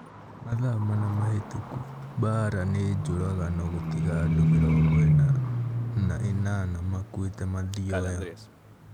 Mathaa mana mahĩtũku Mbaara nĩ njũragano gũtiga andũ mĩrongo ina na inana makuĩte Mathioya